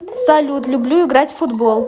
салют люблю играть в футбол